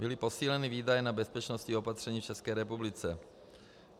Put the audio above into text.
Byly posíleny výdaje na bezpečnostní opatření v České republice.